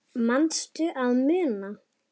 Manstu að muna?